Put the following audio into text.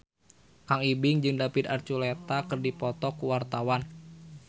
Kang Ibing jeung David Archuletta keur dipoto ku wartawan